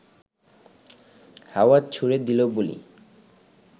হাওয়ায় ছুড়ে দিয়ে বলি